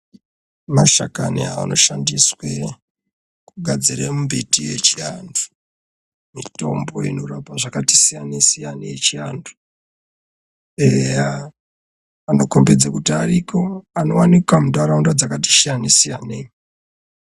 Mashakani anoshandisiwa kugadzire mbiti yechiantu, mitombo inorapa zvakati siyanei siyanei yechiantu eya anokhombidza kuti ariko anowanika mundaraunda dzakati siyanei siyanei.